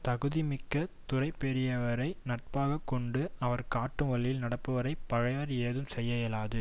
தகுதி மிக்க துறை பெரியவரை நட்பாக கொண்டு அவர் காட்டும் வழியில் நடப்பவரை பகைவர் ஏதும் செய்ய இயலாது